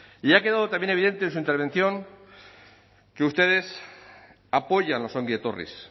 y ha quedado también evidente en su intervención que ustedes apoyan los ongi etorris